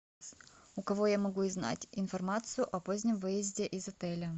у кого я могу узнать информацию о позднем выезде из отеля